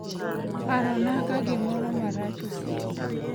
Parona ka gimoro marach osieko